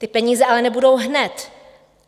Ty peníze ale nebudou hned.